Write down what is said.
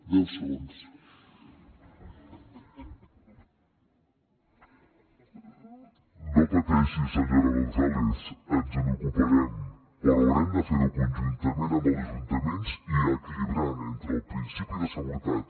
no pateixi senyora gonzález ens n’ocuparem però haurem de fer ho conjuntament amb els ajuntaments i equilibrant entre el principi de seguretat